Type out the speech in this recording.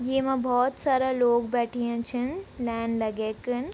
येमा भोत सारा लोग बैठ्याँ छन लाइन लगे कन।